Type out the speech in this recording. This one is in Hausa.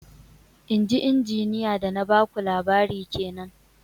Inji Injiniya da na ba ku labari kenan